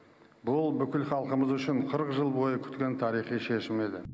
бұл бүкіл халқымыз үшін қырық жыл бойы күткен тарихи шешім еді